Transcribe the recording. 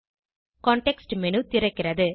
context menu திறக்கிறது